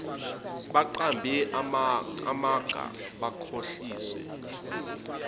baqambe amanga bakhohlise